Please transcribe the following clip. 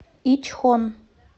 ичхон